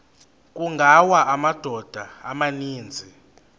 kungawa amadoda amaninzi